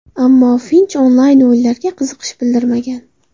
Ammo Finch onlayn-o‘yinlarga qiziqish bildirmagan.